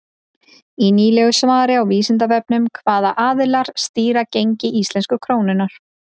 Í nýlegu svari á Vísindavefnum Hvaða aðilar stýra gengi íslensku krónunnar?